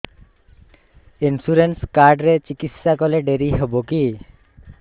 insurance card ରେ ଚିକିତ୍ସା କଲେ ଡେରି ହବକି